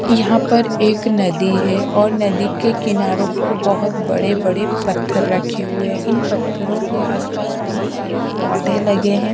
यहां पर एक नदी है और नदी के कीनारों पर बहुत बड़े बड़े पत्थर रखे हुए हैं और इन पत्थरों के आस पास बहुत सारे पौधे लगे हुए हैं।